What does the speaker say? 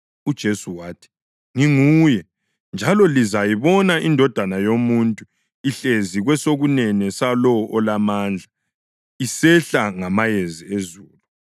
UJesu wathi, “Nginguye. Njalo lizayibona iNdodana yoMuntu ihlezi kwesokunene salowo Olamandla isehla ngamayezi ezulu.”